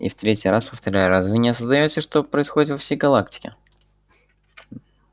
и в третий раз повторяю разве вы не осознаёте что происходит во всей галактике